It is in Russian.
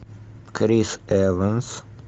крис эванс